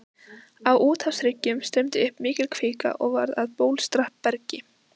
Á úthafshryggjunum streymdi upp mikil kvika og varð að bólstrabergi.